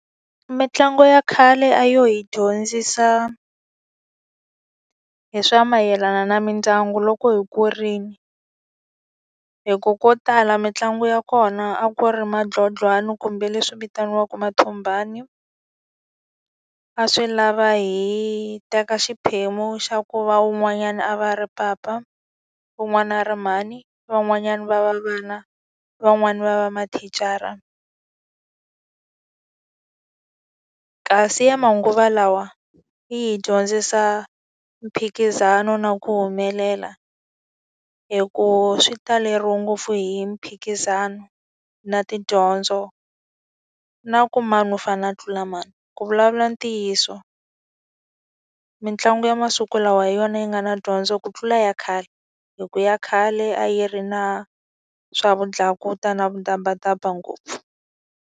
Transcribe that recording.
Mitlangu ya khale a yo hi dyondzisa hi swa mayelana na mindyangu loko hi kurile. Hikuva ko tala mitlangu ya kona a ku ri matlotlwana kumbe leswi vitaniwaka mathombani. A swi lava hi teka xiphemu xa ku va un'wanyana a va ri papa, van'wana ri mhani, van'wanyani va va vana, van'wani va va mathicara. Kasi ya manguva lawa yi hi dyondzisa mphikizano na ku humelela, hikuva swi taleriwe ngopfu hi mphikizano, na tidyondzo, na ku mani u fanele na a tlula mani. Ku vulavula ntiyiso, mitlangu ya masiku lawa hi yona yi nga na dyondzo ku tlula ya khale. Hikuva ya khale a yi ri na swavudlakuta na vudabadba ngopfu.